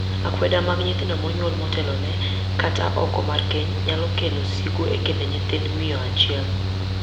Akweda mag nyithindo monyuol motelone, kata oko mar keny, nyalo kelo sigu e kind nyithind miyo achiel.